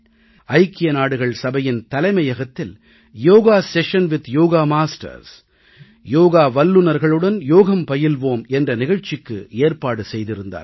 ஐக்கிய நாடுகள் சபையின் தலைமையகத்தில் yoga session with yoga masters யோக வல்லுனர்களுடன் யோகம் பயில்வோம் என்ற நிகழ்ச்சிக்கு ஏற்பாடு செய்திருந்தார்கள்